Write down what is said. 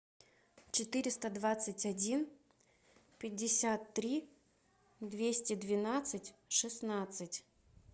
четыреста двадцать один пятьдесят три двести двенадцать шестнадцать